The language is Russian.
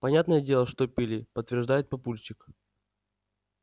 понятное дело что пили подтверждает папульчик